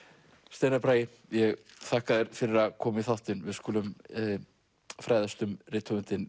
steinar Bragi ég þakka þér fyrir að koma í þáttinn við skulum fræðast um rithöfundinn